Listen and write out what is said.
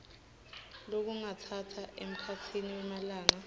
lokungatsatsa emkhatsini wemalanga